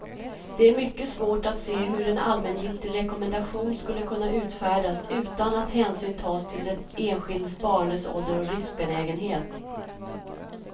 Det är mycket svårt att se hur en allmängiltig rekommendation skulle kunna utfärdas utan att hänsyn tas till den enskilde spararens ålder och riskbenägenhet.